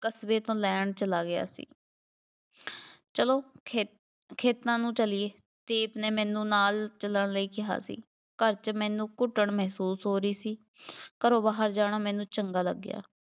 ਕਸਬੇ ਤੋਂ ਲੈਣ ਚਲਾ ਗਿਆ ਸੀ, ਚੱਲੋ ਖੇ~ ਖੇਤਾਂ ਨੂੰ ਚੱਲੀਏ, ਦੀਪ ਨੇ ਮੈਨੂੰ ਨਾਲ ਚੱਲਣ ਲਈ ਕਿਹਾ ਸੀ, ਘਰ 'ਚ ਮੈਨੂੰ ਘੁੱਟਣ ਮਹਿਸੂਸ ਹੋ ਰਹੀ ਸੀ, ਘਰੋਂ ਬਾਹਰ ਜਾਣਾ ਮੈਨੂੰ ਚੰਗਾ ਲੱਗਿਆ,